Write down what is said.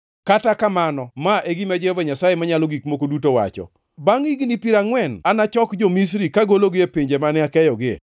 “ ‘Kata kamano ma e gima Jehova Nyasaye Manyalo Gik Moko Duto wacho: Bangʼ higni piero angʼwen anachok jo-Misri kagologi e pinje mane akeyogie.